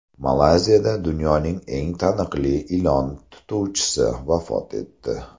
Malayziyada dunyoning eng taniqli ilon tutuvchisi vafot etdi.